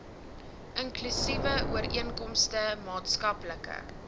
inklusiewe ooreenkomste maatskaplike